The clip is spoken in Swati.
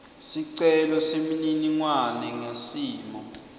sicelo semininingwane ngesimo